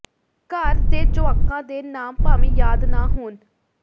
ਘਰ ਦੇ ਜੁਆਕਾਂ ਦੇ ਨਾਮ ਭਾਵੇਂ ਯਾਦ ਨਾਂ ਹੋਣ